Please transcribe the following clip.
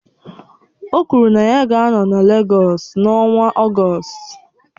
O kwuru na ya ga-anọ na Legọs n'ọnwa Ọgọst